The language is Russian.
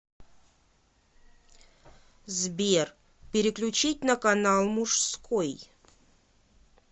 сбер переключить на канал мужской